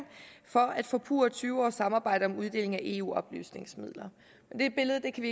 for at forpurre tyve års samarbejde om uddelingen af eu oplysningsmidler men det billede kan